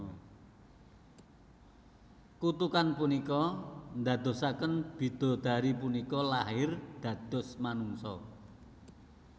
Kutukan punika ndadosaken bidodari punika lair dados manungsa